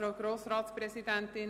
– Das ist der Fall.